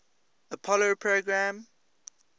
apollo program